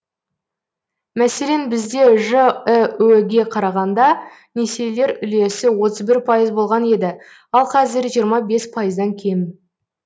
мәселен бізде жіө ге қарағанда несиелер үлесі отыз бір пайыз болған еді ал қазір жиырма бес пайыздан кем